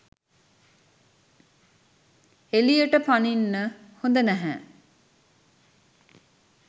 එළියට පනින්න හොඳ නැහැ.